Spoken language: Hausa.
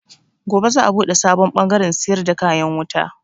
Gobe za a buɗe sabon bangaren siyar da kayan wuta.